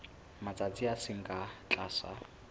matsatsi a seng ka tlase